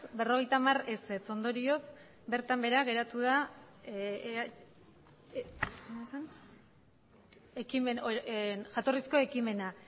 berrogeita hamar ondorioz bertan behera geratu jatorrizko ekimena